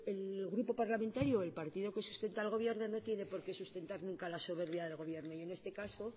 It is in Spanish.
el grupo parlamentario o el partido que sustenta al gobierno no tiene porqué sustentar nunca la soberbia del gobierno y en este caso